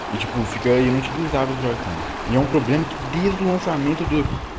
его фио и начали заготовку с ним проблем бизнеса не дадут